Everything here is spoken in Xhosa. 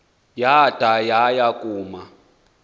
yada yaya kuma